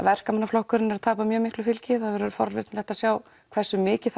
verkamannaflokkurinn er að tapa miklu fylgi forvitnilegt að sjá hversu mikið